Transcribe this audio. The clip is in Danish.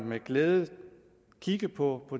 med glæde også kigge på